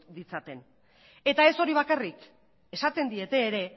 ditzaten eta ez hori bakarrik esaten diete ere